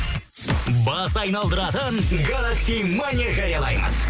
бас айналдыратын галакси мания жариялаймыз